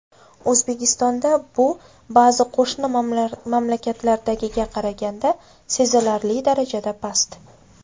O‘zbekistonda bu ba’zi qo‘shni mamlakatlardagiga qaraganda sezilarli darajada past.